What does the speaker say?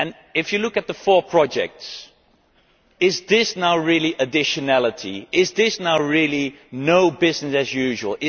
If you look at the four projects, is this now really additionality? Is this really no more business as usual'?